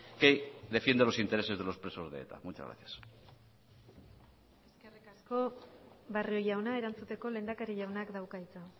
que defiende los intereses de los presos de eta muchas gracias eskerrik asko barrio jauna erantzuteko lehendakari jaunak dauka hitza